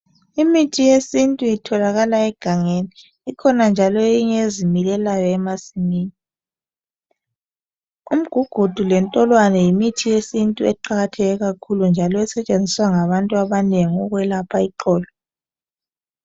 Imithi yesintu itholakala egangeni ikhona njalo eyinye ezimilelayo emasimini. Umgugudu lentolwane yimithi yesintu eqakatheke kakhulu njalo esetshenziswa ngabantu abanengi ukwelapha iqolo.